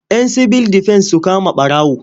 Yan sibil defen su kama ɓarawo.